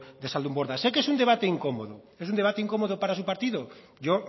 de zaldunborda sé que es un debate incómodo es un debate incómodo para su partido yo